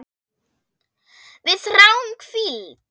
Við þráum hvíld.